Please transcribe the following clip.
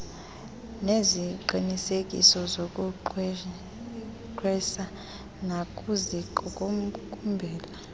ngeziqinisekiso zokugqwesa bakusiqukumbela